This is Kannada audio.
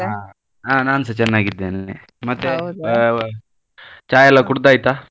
ಹ ಹಾ ನಾನ್ಸ ಚೆನ್ನಾಗಿದ್ದೇನೆ, ಚಾ ಎಲ್ಲ ಕುಡ್ದಾಯಿತಾ?